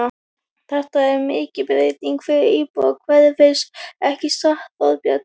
Þetta er mikil breyting fyrir íbúa hverfisins, ekki satt, Þorbjörn?